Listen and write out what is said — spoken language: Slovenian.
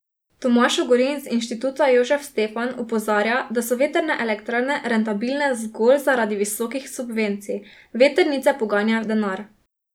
Tomaž Ogrin z Inštituta Jožef Stefan opozarja, da so vetrne elektrarne rentabilne zgolj zaradi visokih subvencij: "Vetrnice poganja denar.